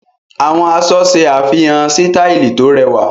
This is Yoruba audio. Àwọn aṣọ ṣe àfihàn sítàìlì tó rẹwà.